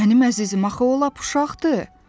Mənim əzizim, axı o lap uşaqdır!